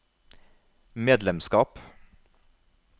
medlemskap